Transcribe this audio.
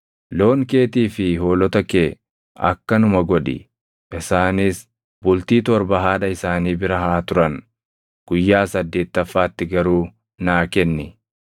Loon keetii fi hoolota kee akkanuma godhi. Isaanis bultii torba haadha isaanii bira haa turan; guyyaa saddeettaffaatti garuu naa kenni.